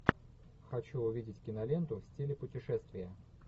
хочу увидеть киноленту в стиле путешествия